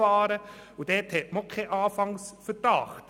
Hier gibt es auch keinen Anfangsverdacht.